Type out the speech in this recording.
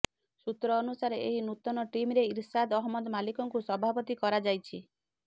ସୂତ୍ର ଅନୁସାରେ ଏହି ନୂତନ ଟିମ୍ରେ ଇରଶାଦ୍ ଅହମ୍ମଦ ମାଲିକକୁ ସଭାପତି କରାଯାଇଛି